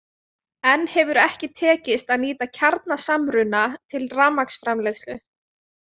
Enn hefur ekki tekist að nýta kjarnasamruna til rafmagnsframleiðslu.